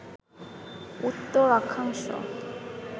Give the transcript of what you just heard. উত্তর অক্ষাংশ